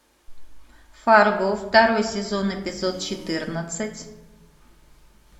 фарго второй сезон эпизод четырнадцать